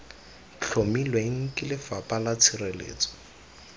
tlhomilweng ke lefapha la tshireletso